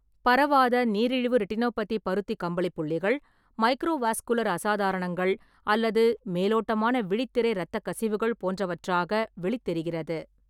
பரவாத நீரிழிவு ரெட்டினோபதி பருத்தி கம்பளி புள்ளிகள், மைக்ரோவாஸ்குலர் அசாதாரணங்கள் அல்லது மேலோட்டமான விழித்திரை இரத்தக்கசிவுகள் போன்றவற்றாக வெளித் தெரிகிறது.